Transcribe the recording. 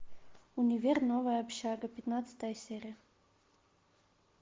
универ новая общага пятнадцатая серия